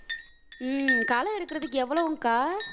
உம் களை எடுக்கறதுக்கு எவ்வளவுங்க்கா